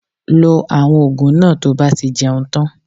Lo àwọn ògùn náà to bá ti jẹun tan